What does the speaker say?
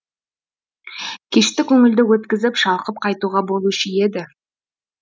кешті көңілді өткізіп шалқып қайтуға болушы еді